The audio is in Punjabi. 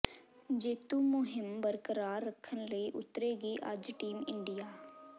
ਜੇਤੂ ਮੁਹਿੰਮ ਬਰਕਰਾਰ ਰੱਖਣ ਲਈ ਉਤਰੇਗੀ ਅੱਜ ਟੀਮ ਇੰਡੀਆ